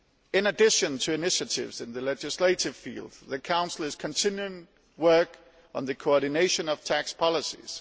In addition to initiatives in the legislative field, the Council is continuing work on the coordination of tax policies.